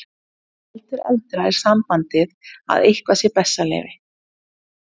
Heldur eldra er sambandið að eitthvað sé bessaleyfi.